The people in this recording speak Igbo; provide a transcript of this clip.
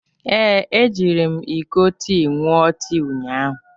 Ee, ejiri m iko tii ṅụọ tii ụnyahụ.